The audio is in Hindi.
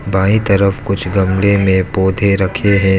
बाएं तरफ कुछ गमले में पौधे रखे हैं।